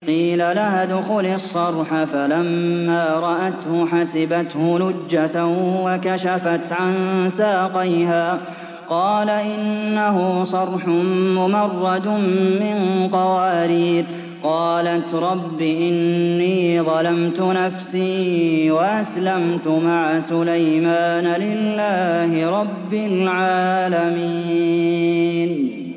قِيلَ لَهَا ادْخُلِي الصَّرْحَ ۖ فَلَمَّا رَأَتْهُ حَسِبَتْهُ لُجَّةً وَكَشَفَتْ عَن سَاقَيْهَا ۚ قَالَ إِنَّهُ صَرْحٌ مُّمَرَّدٌ مِّن قَوَارِيرَ ۗ قَالَتْ رَبِّ إِنِّي ظَلَمْتُ نَفْسِي وَأَسْلَمْتُ مَعَ سُلَيْمَانَ لِلَّهِ رَبِّ الْعَالَمِينَ